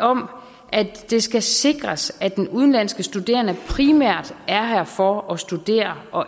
om at det skal sikres at den udenlandske studerende primært er her for at studere og